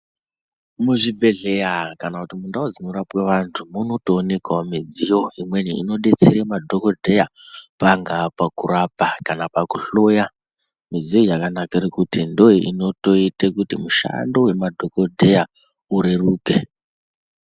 Muzvibhehleya kana kuti mundau dzinorapwe vantu munotoonekawo midziyo imweni inodetsere madhokodheya pangaa pakurapa kana pakuhloya. Midziyo iyi yakanakira kuti ndoinoita kuti mishando wemadhokoteya ureruke.